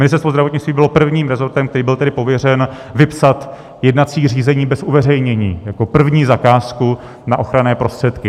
Ministerstvo zdravotnictví bylo prvním rezortem, který byl tedy pověřen vypsat jednací řízení bez uveřejnění jako první zakázku na ochranné prostředky.